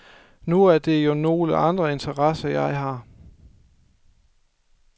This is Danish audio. Nu er det jo nogle andre interesser, jeg har.